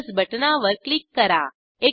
plus बटणावर click करा